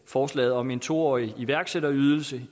forslaget om en to årig iværksætterydelse